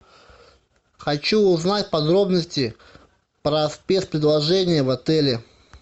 хочу узнать подробности про спец предложения в отеле